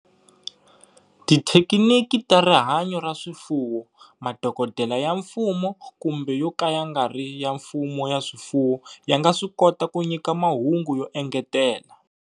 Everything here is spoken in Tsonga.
Tithekiniki ta rihanyo ra swifuwo, madokodela ya mfumo kumbe yo ka ya nga ri ya mfumo ya swifuwo ya nga swi kota ku nyika mahungu yo engetela.